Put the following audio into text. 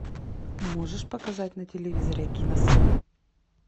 можешь показать на телевизоре киносад